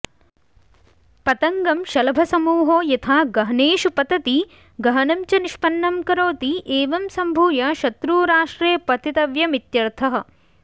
पतङ्गं शलभसमूहो यथा गहनेषु पतति गहनं च निष्पन्नं करोति एवं संभूय शत्रूराष्ट्रे पतितव्यमित्यर्थः